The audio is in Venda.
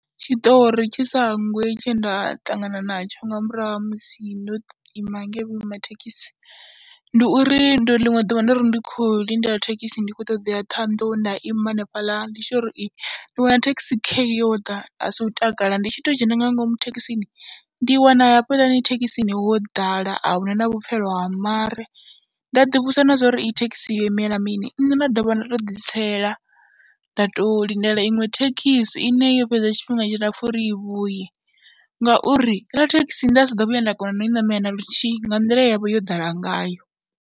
Tshiṱori tshi sa hangwei tshe nda ṱangana natsho nga murahu ha musi ndo ima ngei vhuima thekhisi, ndi uri ndo ḽiṅwe ḓuvha ndo ri ndi khou lindela thekhisi ndi khou ṱoḓa u ya Ṱhohoyanḓou nda ima hanefhaḽa, ndi tshi tou ri i, nda wana thekhisi khei yo ḓa aasi u takala ndi tshi tou dzhena nga ngomu thekhisini ndi wana hafhaḽani thekhisini ho ḓala a hu na na vhupfhelo ha mare. Nda ḓivhudzisa na zwa uri iyi thekhisi yo imela mini, nṋe nda dovha nda tou ḓitsela nda tou lindela iṅwe thekhisi ine yo fhedza tshifhinga tshilapfhu uri i vhuye ngauri heiḽa thekisi nda sa ḓo vhuya nda kona na u i ṋamela na luthihi nga nḓila ye ya vha yo ḓala ngayo.